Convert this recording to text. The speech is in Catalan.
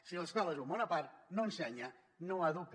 si l’escola és un món a part no ensenya no educa